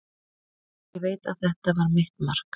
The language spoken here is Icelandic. Ég veit að þetta var mitt mark.